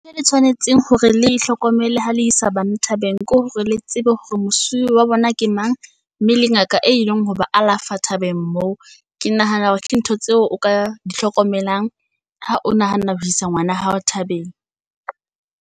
Ntho e le tshwanetseng hore le e hlokomelle ho le isa bana thabeng ke hore le tsebe hore mosuwe wa bona ke mang, mme le ngaka e leng ho ba alafa thabeng moo. Ke nahana hore ke ntho tseo o ka di hlokomelang ha o nahana ho isa ngwana hao thabeng.